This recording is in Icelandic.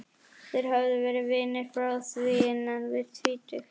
Þeir höfðu verið vinir frá því innan við tvítugt.